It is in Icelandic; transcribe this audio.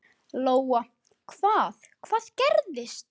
Lóa: Hvað, hvað gerðist?